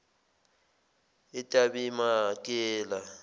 etabemakela